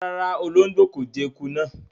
Ràrá, o olongbo ko jẹ ẹkú náa.